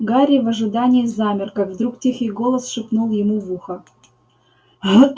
гарри в ожидании замер как вдруг тихий голос шепнул ему в ухо